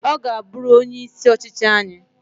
Gaa buru onye isi ọchịchị anyi